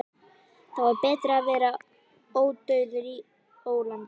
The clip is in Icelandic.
Þá er betra að vera ódauður í ólandi.